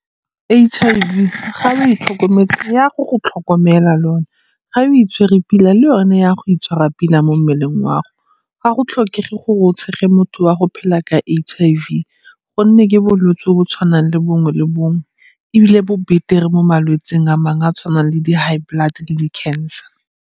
H_I_V ga o e tlhokometse e ya go go tlhokomela le yone. Ga o itshwere pila le yone e ya go itshwara pila mo mmeleng wa gago. Ga go tlhokege gore o tshege motho wa go phela ka H_I_V gonne ke bolwetsi jo bo tshwanang le bongwe le bongwe ebile bo betere mo malwetsing a mang a a tshwanang le di-high blood le di cancer.